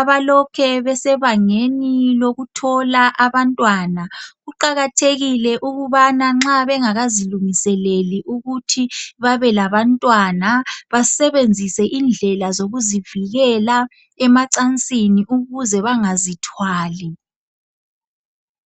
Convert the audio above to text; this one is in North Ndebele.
abalokhe besebangeni lokuthola abantwana. Kuqakathekile ukubana nxa bengakazilungiseleli ukuthi babelabantwana basebenzisa indlela zokuzivikela emacansini ukuze bangazithwali.